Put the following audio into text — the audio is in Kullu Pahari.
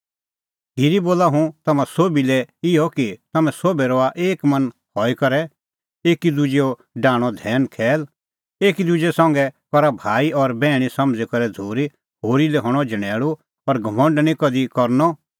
खिरी बोला हुंह तम्हां सोभी लै इहअ कि तम्हैं सोभै रहा एक मन हई करै एकी दुजैओ डाहणअ धैनखैल एकी दुजै संघै करा भाई और बैहणी समझ़ी करै झ़ूरी होरी लै हणअ झणैल़ू और घमंड निं कधि करनअ